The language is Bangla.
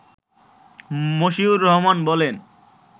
মশিউর রহমান বলেন